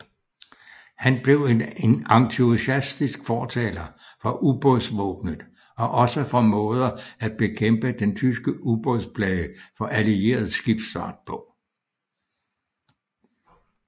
Han blev en entusiastisk fortaler for ubådsvåbenet og også for måder at bekæmpe den tyske ubådsplage for allieret skibsfart på